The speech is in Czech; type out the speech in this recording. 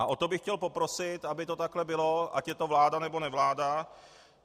A o to bych chtěl poprosit, aby to takhle bylo, ať je to vláda nebo nevláda.